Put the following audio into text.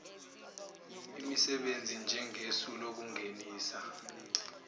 emisebenzi njengesu lokungenisa